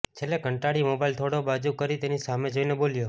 છેલ્લે કંટાળી મોબાઈલ થોડો બાજુ કરી તેની સામે જોઈને બોલ્યો